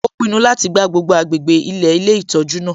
Ó pinnu láti gbá gbogbo agbègbè ilẹ̀ ilé ìtọ́jú náà